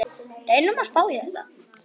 Reynum að spá í þetta.